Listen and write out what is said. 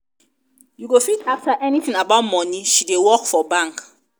you go fit ask her anything about money she dey work for bank.